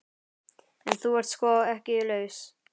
En þú ert sko ekki laus.